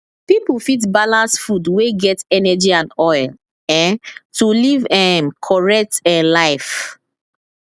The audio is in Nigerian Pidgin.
people fit balance food wey get energy and oil um to live um correct um life